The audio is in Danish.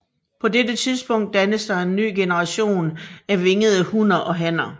På dette tidspunkt dannes der en ny generation af vingede hunner og hanner